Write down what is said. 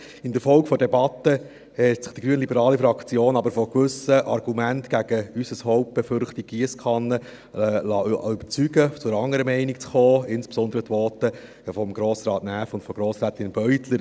Infolge der Debatte hat sich die grünliberale Fraktion aber von gewissen Argumenten gegen unsere Hauptbefürchtung «Giesskanne» überzeugen lassen, zu einer anderen Meinung zu kommen, insbesondere durch die Voten von Grossrat Näf und von Grossrätin Beutler.